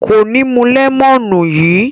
Kò ní mú lẹ́mọ́nù yìí.